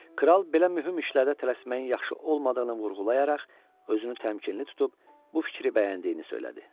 Kral belə mühüm işlərdə tələsməyin yaxşı olmadığını vurğulayaraq özünü təmkinli tutub bu fikri bəyəndiyini söylədi.